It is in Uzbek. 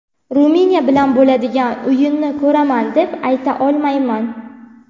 Ruminiya bilan bo‘ladigan o‘yinni ko‘raman, deb ayta olmayman.